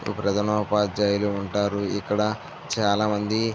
ప్రథమోపాధ్యాయులు వుంటారు ఇక్కడ చాలా మంది --